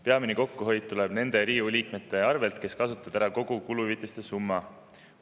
Peamine kokkuhoid tuleb nende Riigikogu liikmete arvelt, kes kasutavad ära kogu kuluhüvitiste summa.